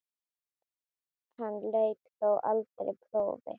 Hann lauk þó aldrei prófi.